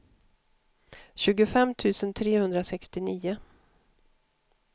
tjugofem tusen trehundrasextionio